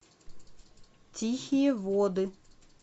тихие воды